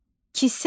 Kisə.